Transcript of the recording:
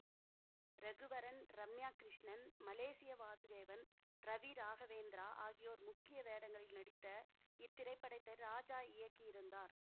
Raghuvaran Ramya Krishnan Malaysia Vasudevan Ravi Raghavendra ஆகியோர் முக்கிய வேடங்களில் நடித்த இத்திரைப்படத்தை ராஜா இயக்கியிருந்தார்